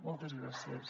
moltes gràcies